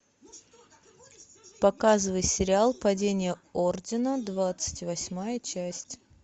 показывай сериал падение ордена двадцать восьмая часть